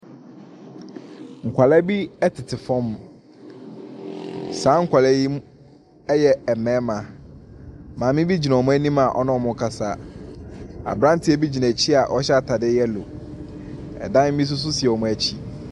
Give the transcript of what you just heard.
Nkɔla bi ɛtete fam. Saa nkɔla yi ɛyɛ mmarima. Maame bi gyina ɔmo anim a ɔne ɔmo kasa. Abranteɛ bi gyina akyi a ɔhyɛ ataade yɛlo. Ɛdan bi nso si ɔmo akyi.